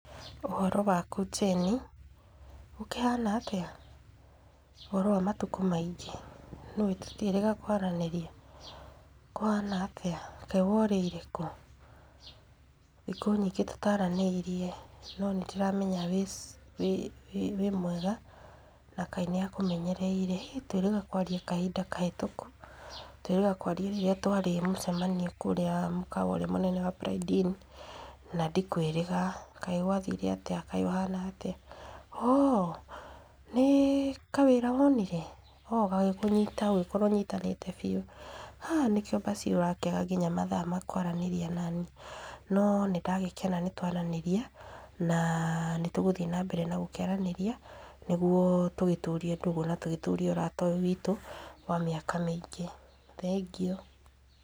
Ũhoro waku Jane, gũkĩhana atĩa, ũhoro wa matukũ maingĩ? Nĩũĩ tũtiĩrĩga kwaranĩria, kũhana atĩa? Kaĩ worĩire kũ? Thikũ nyingĩ tũtaranĩirie, no nĩndĩramenya wĩ wĩ mwega, na Ngai níakũmenyereire, hĩ nĩtwĩrĩga kwaria kahinda kahĩtũku. Twĩrĩga kwaria rĩrĩa twarĩ mũcemanio kũrĩa mũkawa mũnene wa Pride Inn, na ndikwĩrĩga, kaĩ gwathire atĩa, kaĩ ũhana atĩa, ho nĩ kawĩra wonire, o gagĩkũnyita gagĩkora ũnyitanĩte biũ, ha nĩkĩo mbaci ũrakĩaga nginya mathaa ma kwaranĩria naniĩ. No nĩndagĩkena nĩtwaranĩria, na nĩtũgũthiĩ nambere na gũkĩaranĩria, nĩguo tũgĩtũrio ndũgũ na tũgĩtũrie ũrata ũyũ witũ, wa mĩaka mĩingĩ. Thengiũ.